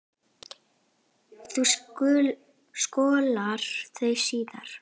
Þú skolar þau síðar.